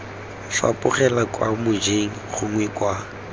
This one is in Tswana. fapogela kwa mojeng gongwe kwa